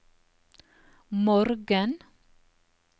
morgen